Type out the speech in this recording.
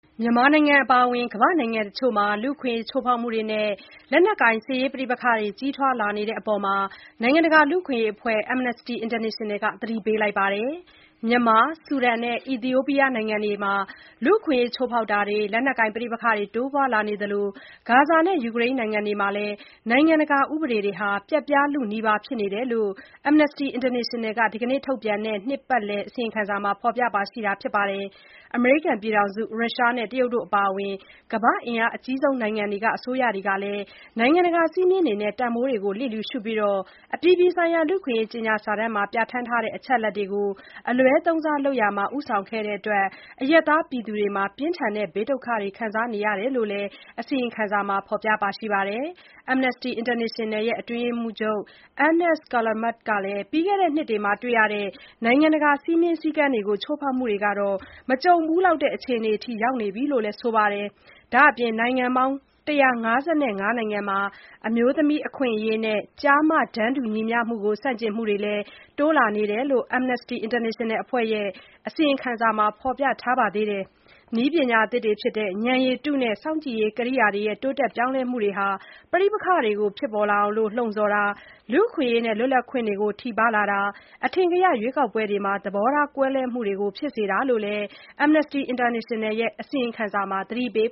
မြန်မာနိုင်ငံ အပါအဝင် ကမ္ဘာ့နိုင်ငံတချို့မှာ လူ့အခွင့်အရေး ချိုးဖောက်မှုတွေနဲ့ လက်နက်ကိုင် ပဋိပက္ခတွေ ကြီးထွားလာတဲ့အပေါ် နိုင်ငံတကာ လူ့အခွင့်အရေးအဖွဲ့တခုဖြစ်တဲ့ Amnesty International က သတိပေးလိုက်ပါတယ်။ မြန်မာ၊ ဆူဒန်နဲ့ အီသီယိုးပီးယားနိုင်ငံတွေမှာ လူ့အခွင့်အရေးချိုးဖောက်မှုတွေ၊ လက်နက်ကိုင်ပဋိပက္ခတွေ တိုးပွားလာနေသလို၊ ဂါဇာနဲ့ ယူကရိန်းနိုင်ငံတွေမှာလည်း နိုင်ငံတကာဥပဒေတွေ ပျက်ပြားလုနီးပါးဖြစ်နေတယ်လို့ (Amnesty International) က ဒီနေ့ထုတ်ပြန်တဲ့ နှစ်ပတ်လည် အစီရင်ခံစာမှာ ဖော်ပြခဲ့တာပါ။ အမေရိကန်၊ ရုရှားနဲ့ တရုတ်တို့ အပါအဝင် ကမ္ဘာ့အင်အားအကြီးဆုံးနိုင်ငံတွေက အစိုးရတွေဟာ နိုင်ငံတကာ စည်းမျဉ်းတွေနဲ့ တန်ဖိုးတွေကို လျစ်လျူရှုပြီး၊ အပြည်ပြည်ဆိုင်ရာလူ့အခွင့်အရေးကြေညာစာတမ်းမှာ ပြဋ္ဌာန်းထားတဲ့ အချက်အလက်တွေကို အလွဲသုံးစားလုပ်ရာမှာ ဦးဆောင်ခဲ့တဲ့အတွက် အရပ်သားတွေမှာ ပြင်းထန်တဲ့ ဘေးဒုက္ခတွေခံစားနေရတယ်လို့လည်း အစီရင်ခံစာမှာ ဖော်ပြထားပါတယ်။ Amnesty International ရဲ့ အတွင်းရေးမှူးချုပ် Agnes Callamard ကလည်း ပြီးခဲ့တဲ့နှစ်တွေမှာ တွေ့ရတဲ့ နိုင်ငံတကာ စည်းမျဉ်းစည်းကမ်းတွေကို ချိုးဖောက်မှုတွေဟာ မကြုံဖူးလောက်တဲ့ အခြေအနေအထိ ရောက်နေပြီလို့လည်း ပြောပါတယ်။ ဒါ့အပြင် နိုင်ငံပေါင်း ၁၅၅ နိုင်ငံမှာ အမျိုးသမီးအခွင့်အရေးနဲ့ ကျား-မ တန်းတူညီမျှမှုကို ဆန့်ကျင်မှုတွေ တိုးလာနေတယ်လို့လည်း Amnesty International အဖွဲ့ရဲ့ အစီရင်ခံစာမှာ ဖော်ပြထားပါသေးတယ်။ နည်းပညာသစ်တွေဖြစ်တဲ့ ဉာဏ်ရည်တုနဲ့ စောင့်ကြည့်ရေးကိရိယာတွေရဲ့ တိုးတက်ပြောင်းလဲလာမှုကြောင့် ပဋိပက္ခတွေဖြစ်လာအောင် လှုံ့ဆော်ခြင်း၊ လူ့အခွင့်အရေးနဲ့ လွတ်လပ်ခွင့်တွေကို ထိပါးလာခြင်း၊ အထင်ကရ ရွေးကောက်ပွဲတွေမှာ သဘောထားကွဲလွဲမှုတွေကို ဖြစ်စေတယ်လို့လည်း အစီရင်ခံစာမှာ သတိပေး